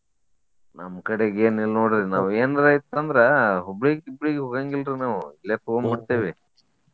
ನಮ್ಮ್ ಕಡೆಗ್ ಏನಿಲ್ಲ ನೋಡ್ರಿ ಇನ್ನ ನಾವ್ ಎನ್ರ ಇತ್ತ ಅಂದ್ರ Hubli ಗ ಗಿಬ್ಳಿಗ ಹೋಗಾಂಗಿಲ್ರಿ ನಾವು ಇಲ್ಲೆ ತೊಗೊಂಡ ಬಿಡ್ತೇವಿ.